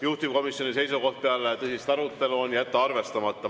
Juhtivkomisjoni seisukoht peale tõsist arutelu on jätta arvestamata.